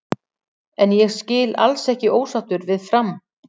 En ég skil alls ekki ósáttur við Fram.